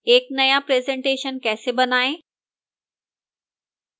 एक नया presentation कैसे बनाएं